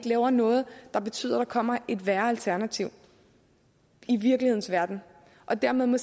lave noget der betyder at der kommer et værre alternativ i virkelighedens verden og dermed må